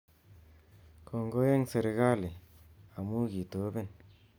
Kongoi eng serkali amu kitoben